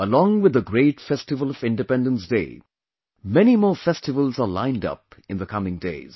Along with the great festival of Independence Day, many more festivals are lined up in the coming days